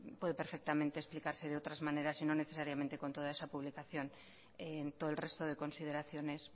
puede perfectamente explicarse de otras maneras y no necesariamente con toda esa publicación en todo el resto de consideraciones